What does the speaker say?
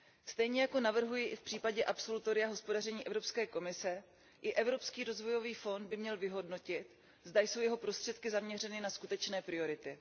Stejně jako navrhuji v případě absolutoria za hospodaření Evropské komise, i Evropský rozvojový fond by měl vyhodnotit, zda jsou jeho prostředky zaměřeny na skutečné priority.